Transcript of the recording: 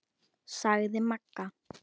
sagði Magga.